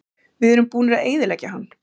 Við erum búnir að eyðileggja hann.